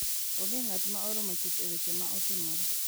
Onge ng’at ma oromo chuth e weche ma otimore,